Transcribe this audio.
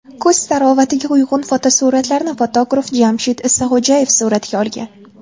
Kuz tarovatiga uyg‘un fotosuratlarni fotograf Jamshid Isaxo‘jayev suratga olgan.